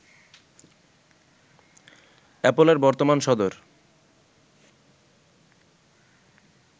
অ্যাপলের বর্তমান সদর